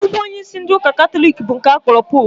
Nnukwu onyeisi ndị ụka katọlik bụ nke a kpọrọ poopụ